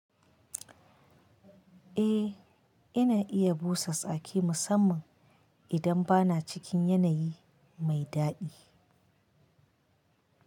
Eh, ina iya busa tsaki musamman idan bana cikin yanayi mai daɗi.